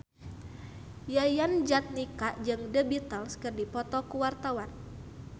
Yayan Jatnika jeung The Beatles keur dipoto ku wartawan